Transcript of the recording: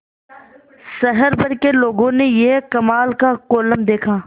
शहर भर के लोगों ने यह कमाल का कोलम देखा